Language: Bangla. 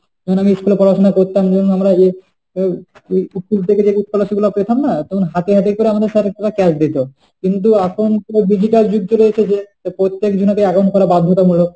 তখন school এ পড়াশোনা করতাম, তখন আমরা যে school থেকে যে scholarship টা পেতাম না, তখন হাতে হাতে যে আমাদের sir আমাদের cash দিত। কিন্তু এখন পুরো digital যুগ চলে এসেছে তাই প্রত্যেক জনাকে account করা বাধ্যতামূলক।